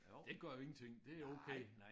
Det gør jo ingenting det okay